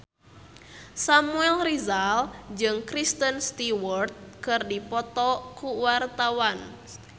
Samuel Rizal jeung Kristen Stewart keur dipoto ku wartawan